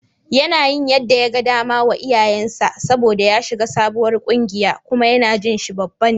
Yana yin yadda yaga dama wa iyayensa saboda ya shiga sabuwar ƙungiya kuma yana jin shi babba ne.